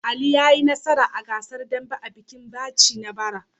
Ali ya yi nasara a gasar dambe a bikin Jaci na bara.